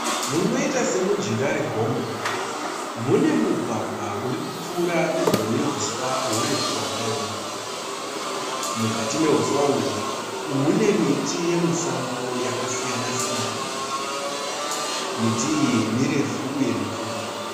Munoita semujinga regomo. Mune mugwagwa urikupfuura pedyo nehuswa hurefu hwakaoma. Mukati nehuswa uhu mune miti yemusango yakasiyana siyana. Miti iyi mirefu uye mipfupi.